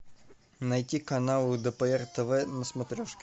найти канал лдпр тв на смотрешке